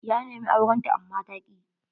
Ya nemi auren ta amma ta ki.